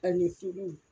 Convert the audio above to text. Ani filiw